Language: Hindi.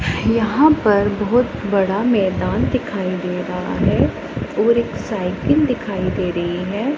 यहाँ पर बहोत बड़ा मैदान दिखाई दे रहा हैं और एक साइकिल दिखाई दे रहीं हैं।